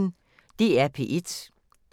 DR P1